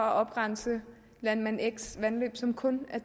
at oprense landmand xs vandløb som kun er